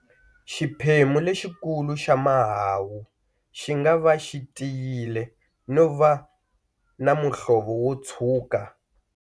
Xiphemu lexikulu xa mahahu xi nga va xi tiyile no va na muhlovo wo tshuka.